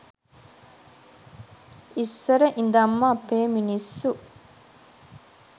ඉස්සර ඉදන්ම අපේ මිනිස්සු